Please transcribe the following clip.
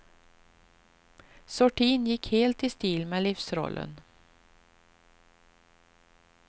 Sortin gick helt i stil med livsrollen.